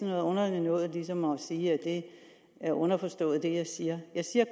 noget underligt noget ligesom at sige at det er underforstået det jeg siger jeg siger